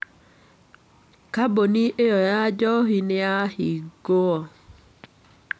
Kambuni ĩyo ya njohi nĩ yahingũo.